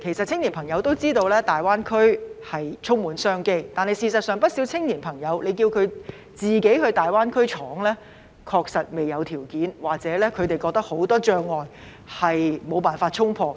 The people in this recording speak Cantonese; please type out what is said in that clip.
青年朋友也知道大灣區充滿商機，但如果叫青年朋友自行到大灣區闖，他們確實未有條件，又或認為有很多障礙無法衝破。